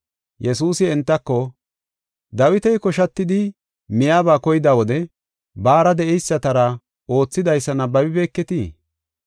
Yesuusi entako, “Dawiti koshatidi, miyaba koyida wode, baara de7eysatara oothidaysa nabbabibeketii?